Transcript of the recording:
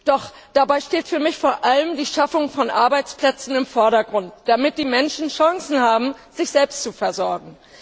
Doch dabei steht für mich vor allem die Schaffung von Arbeitsplätzen im Vordergrund, damit die Menschen Chancen haben, sich selbst zu versorgen.